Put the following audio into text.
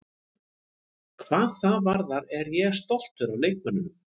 Hvað það varðar er ég stoltur af leikmönnunum.